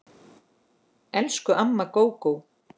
Elsku amma Gógó.